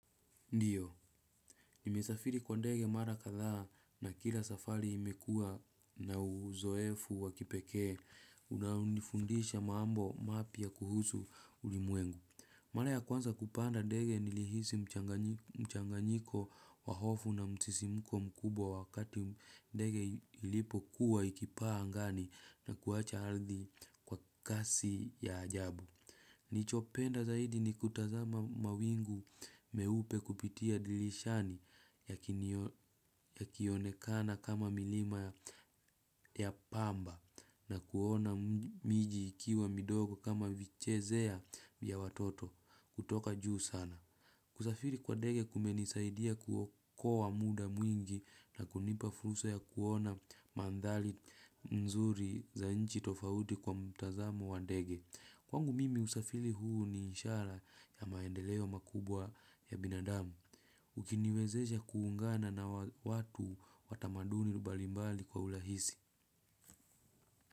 Ndiyo, nimesafiri kwa ndege mara katha na kila safari imekua na uzoefu wakipekee, unafundisha maambo mapia kuhusu ulimwengu. Mala ya kwanza kupanda ndege nilihisi mchanganyiko wahofu na msisimko mkubwa wakati ndege ilipo kuwa ikipaa angani na kuacha haldi kwa kasi ya ajabu. Nichopenda zaidi ni kutazama mawingu meupe kupitia dilishani yakionekana kama milima ya pamba na kuona miji ikiwa midogo kama vichezea ya watoto kutoka juu sana. Kusafiri kwa dege kumenisaidia kuokowa muda mwingi na kunipa fursa ya kuona mandhali mzuri za nchi tofauti kwa mtazamo wa dege. Kwangu mimi usafili huu ni ishara ya maendeleo makubwa ya binadamu. Ukiniwezesha kuungana na watu watamaduni mbalimbali kwa ulahisi.